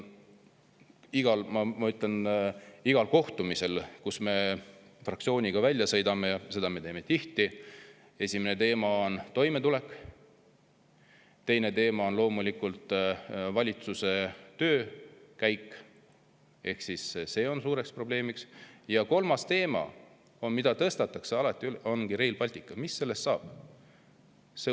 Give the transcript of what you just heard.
Igal kohtumisel, kuhu me fraktsiooniga oleme sõitnud – ja seda me teeme tihti –, on esimene teema toimetulek, teine teema on loomulikult valitsuse töö ehk see on suureks probleemiks ja kolmas teema, mida alati tõstatatakse, ongi Rail Baltic ja mis sellest saab.